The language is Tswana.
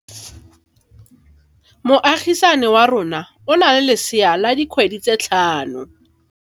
Moagisane wa rona o na le lesea la dikgwedi tse tlhano.